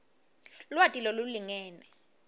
lwati lolulingene